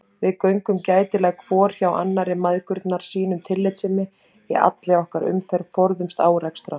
Við göngum gætilega hvor hjá annarri mæðgurnar, sýnum tillitssemi í allri okkar umferð, forðumst árekstra.